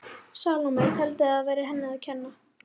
Salóme teldi að það væri henni að kenna.